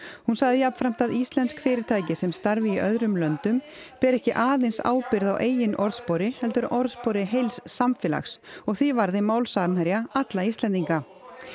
hún sagði jafnframt að íslensk fyrirtæki sem starfi í öðrum löndum beri ekki aðeins ábyrgð á eigin orðspori heldur orðspori heils samfélags og því varði mál Samherja alla Íslendinga